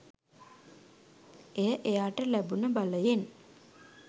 එය එයාට ලැබුණ බලයෙන්